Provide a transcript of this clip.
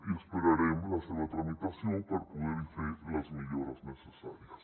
i esperarem la seva tramitació per poderhi fer les millores necessàries